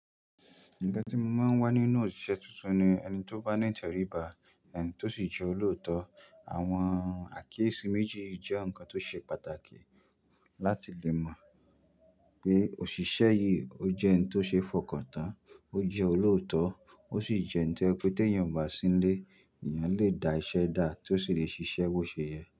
Nǹkan tí mo máa ń wá nínú òṣìṣẹ́ tuntun ni ẹni tó bá ní ìtẹ̀ríba, ẹni tó sì jẹ́ olóòótọ́. Àwọn àkíyèsí méjì jẹ́ ǹkan tó ṣe pàtàkì láti lè mọ̀ pé òṣìṣẹ́ yìí ó jẹ́ ẹni tó ṣe fọkàntán, ó jẹ́ olóòótọ́, ó sì jẹ́ ẹni tí jẹ pé tí èèyàn bá sí ni lé, èèyàn lè da iṣẹ́ dá tí ó sì lè ṣiṣẹ́ bó ṣe yẹ.